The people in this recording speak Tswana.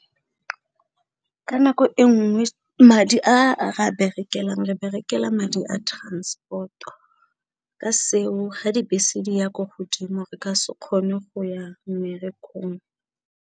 Ka nako e nngwe madi a berekelang re berekela madi a transport-o, ka seo ga dibese di ya ko godimo re ka se kgone go ya mmerekong.